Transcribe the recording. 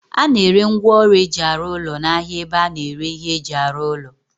A na-ere ngwaọrụ eji arụ ụlọ n'ahia ebe a na-ere ihe eji arụ ụlọ